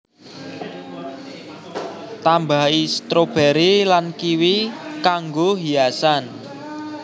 Tambahi stroberi lan kiwi kanggoi hiasan